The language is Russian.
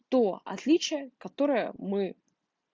то отличие которое мы